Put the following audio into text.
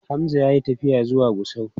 Hamza ya yi tafiya zuwa Gusau.